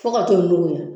Fo ka t'o nuguya